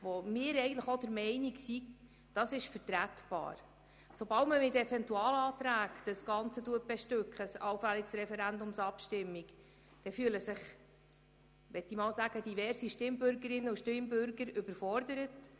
Sobald eine Vorlage mit Eventualanträgen befrachtet wird, fühlen sich diverse Stimmbürgerinnen und Stimmbürger überfordert.